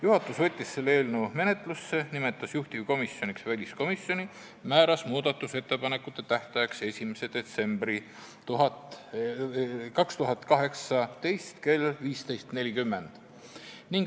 Juhatus võttis selle eelnõu menetlusse, nimetas juhtivkomisjoniks väliskomisjoni ja määras muudatusettepanekute esitamise tähtajaks 3. detsembri 2018 kell 15.40.